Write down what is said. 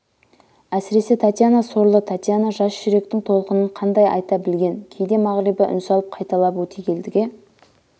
әсіресе татьяна сорлы татьяна жас жүректің толқынын қандай айта білген кейде мағрипа үн салып қайталап өтегелдіге